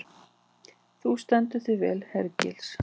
Þú stendur þig vel, Hergils!